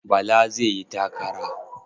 Bala zai yi takara.